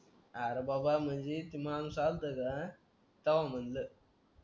अरे बाबा म्हणजेच माणूस आलता का तेव्हा म्हणलं